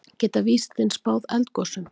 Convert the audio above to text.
Geta vísindin spáð eldgosum?